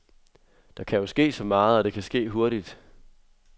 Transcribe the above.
Der kan jo ske så meget, og det kan ske hurtigt.